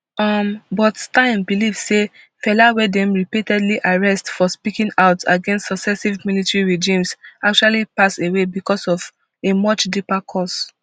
um but stein believe say fela wey dem repeatedly arrest for speaking out against successive military regimes actually pass away becos of a much deeper cause